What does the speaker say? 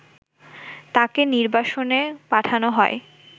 তাকে নির্বাসনে পাঠানো হয়